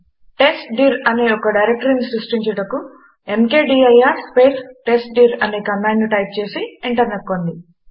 test dir అనే ఒక డైరెక్టరీని సృష్టించుటకు ఎంకేడీఐఆర్ స్పేస్ టెస్ట్డిర్ అనే కమాండును టైప్ చేసి ఎంటర్ నొక్కండి